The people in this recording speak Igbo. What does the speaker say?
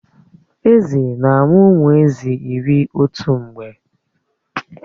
Èzí na-amụ ụmụ Èzí iri otu mgbe